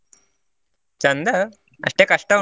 ಚಂದ ಅಷ್ಟೇ ಕಷ್ಟ ಉಂಟು.